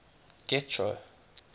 getro